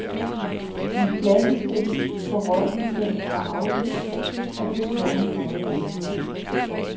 Den klassiske forrådnelse er afløst af det tårnhøje helvede.